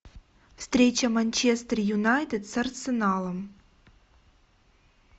встреча манчестер юнайтед с арсеналом